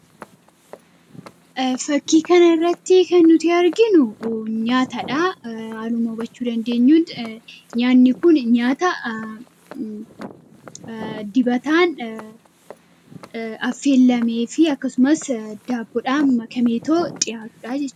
Fakkii kana irratti kan nuti arginu nyaata dhaa. Haaluma hubachuu dandeenyuun nyaanni kun nyaata dibataan affeellamee fi akkasumas daabboodhaan makameetoo dhiyaatu dhaa jech...